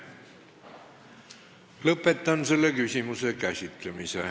Lõpetan selle küsimuse käsitlemise.